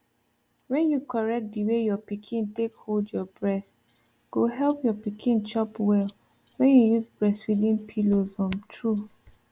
when you correct the way your pikin take hold your breast go help your pikin chop well when you use breastfeeding pillows um true